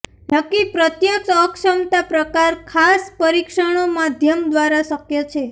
નક્કી પ્રત્યક્ષ અક્ષમતા પ્રકાર ખાસ પરીક્ષણો માધ્યમ દ્વારા શક્ય છે